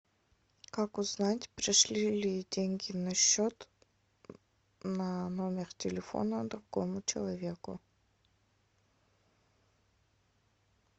как узнать пришли ли деньги на счет на номер телефона другому человеку